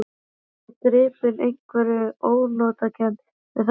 Ég var gripinn einhverri ónotakennd við þessi orð.